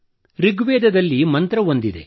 ಋಗ್ವೇದದಲ್ಲಿ ಮಂತ್ರವೊಂದಿದೆ